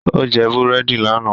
Ó jẹ búrẹ́dì lánàá